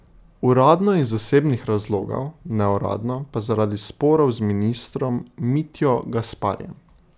Uradno iz osebnih razlogov, neuradno pa zaradi sporov z ministrom Mitjo Gasparijem.